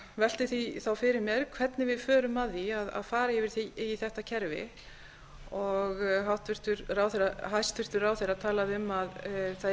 velti því þá fyrir mér hvernig við förum að því að fara yfir í þetta kerfi hæstvirtur ráðherra talaði um að það